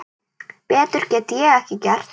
Betur get ég ekki gert.